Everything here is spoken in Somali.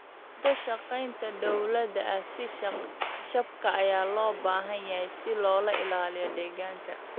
Wada shaqeynta dowladaha iyo shacabka ayaa loo baahan yahay si loo ilaaliyo deegaanka.